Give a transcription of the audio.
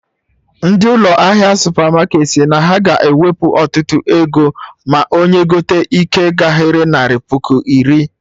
Ndị ụlọ ahịa supermarketị si na ha ga ewepu ọtụtụ ego ma onye gote ike gahere narị puku iri